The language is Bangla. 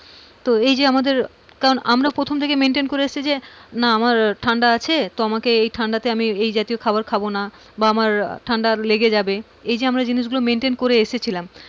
তো এই যে আমাদের কারণ আমরা প্রথম থেকে maintain করে এসেছি যে না আমার ঠান্ডা আছে তো আমাকে এই ঠান্ডাতে আমি এই জাতীয় খাবার খাবো না বা আমার ঠান্ডা লেগে যাবে এই যে আমরা এই জিনিসগুলো maintain করে এসেছিলাম,